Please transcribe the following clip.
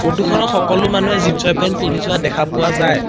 Photo খনত সকলো মানুহে জিনচৰ পেন পিন্ধি যোৱা দেখা পোৱা যায়।